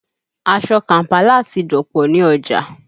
Aṣọ Kàm̀pálà ti dọ̀pọ̀ ní ọjà